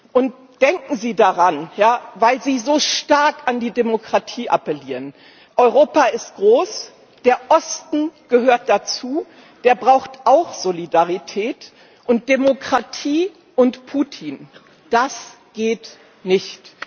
Und denken Sie daran, weil Sie so stark an die Demokratie appellieren Europa ist groß. Der Osten gehört dazu, der braucht auch Solidarität. Und Demokratie und Putin, das geht nicht!